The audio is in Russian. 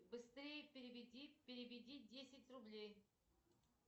быстрей переведи десять рублей